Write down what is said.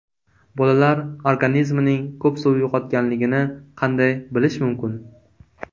Bolalar organizmining ko‘p suv yo‘qotganligini qanday bilish mumkin?